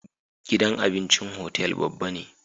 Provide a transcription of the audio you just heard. Gidan abincin hotel babba ne